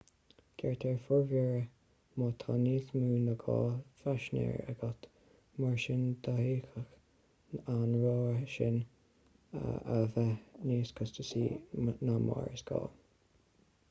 gearrtar formhuirear má tá níos mó ná 2 phaisinéir agat mar sin d'fhéadfadh an rogha seo a bheith níos costasaí ná mar is gá